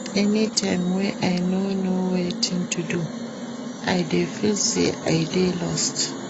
Anytime wey I no know wetin to do, I dey feel sey I dey lost.